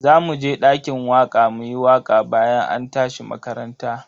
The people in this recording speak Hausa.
Zamu je dakin waka muyi waka bayan an tashi makaranta.